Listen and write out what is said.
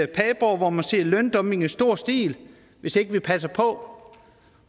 padborg hvor man ser løndumping i stor stil hvis ikke vi passer på